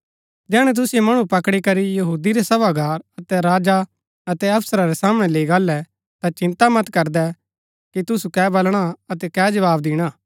जैहणै तुसिओ मणु पकड़ी करी यहूदी रै सभागार अतै राजा अतै अफसरा रै सामणै लैई गाहलै ता चिन्ता मत करदै कि तुसु के बलणा अतै कै जवाव दिणा